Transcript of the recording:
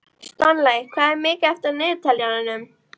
Stanley, hvað er mikið eftir af niðurteljaranum?